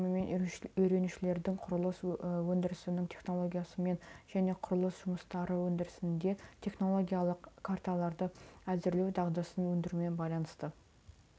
осы бағдарламамен үйренушілердің құрылыс өндірісінің технологиясымен және құрылыс жұмыстары өндірісінде технологиялық карталарды әзірлеу дағдысын өңдеумен байланысты